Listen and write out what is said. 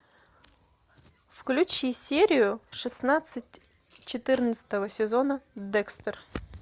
включи серию шестнадцать четырнадцатого сезона декстер